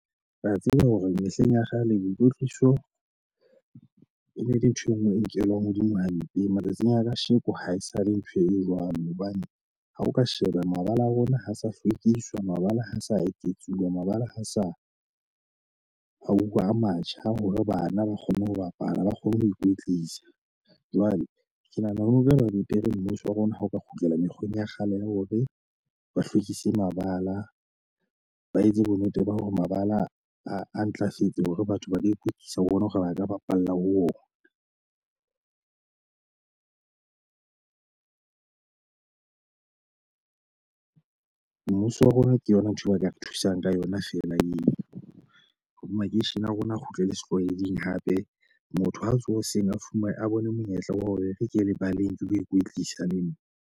Ke a tseba hore mehleng ya kgale, boikotliso e ne le ntho e nngwe e nkelwang hodimo hampe matsatsing a kasheko haesale ntho e jwalo. Hobane ha o ka sheba mabala a rona ha a sa hlwekiswa. Mabala ha a sa eketsuwa. Mabala ha sa hauwa a matjha hore bana ba kgone ho bapala, ha ba kgone ho ikwetlisa. Jwale ke nahana ho re ba mapiere Mmuso wa rona ha o ka kgutlela mekgweng ya kgale ya hore ba hlwekise mabala, ba etse bonnete ba hore mabala a ntlafetse hore batho ba lo ikwetlisa ho bona hore ba ka bapalla ho ona. Mmuso wa rona ke yona ntho eo ba ka re thusang ka yona feela eo, hore makeishene a rona a kgutlela setlwaeding hape. Motho ha a tsoha hoseng, a fumane a bone monyetla wa hore e re ke ye lebaleng ke lo ikwetlisa le nna.